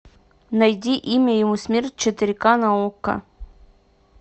найди имя ему смерть четыре ка на окко